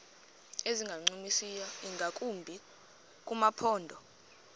ezingancumisiyo ingakumbi kumaphondo